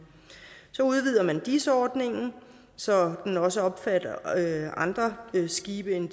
så udvider man dis ordningen så den også omfatter andre skibe end